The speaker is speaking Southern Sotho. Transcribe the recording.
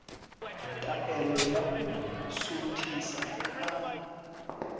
taelo ya ho suthisa ka